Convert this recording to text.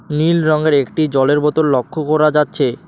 নীল রঙের একটি জলের বোতল লক্ষ্য করা যাচ্ছে।